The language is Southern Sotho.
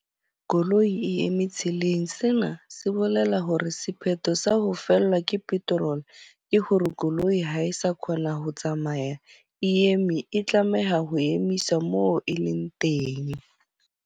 Koloi e eme tseleng. Sena se bolela hore sephetho sa ho fellwa ke petrol ke hore koloi ha e sa kgona ho tsamaya. E eme, e tlameha ho emisa mo e leng teng.